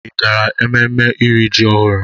Ị gara ememme iri ji ọhụrụ?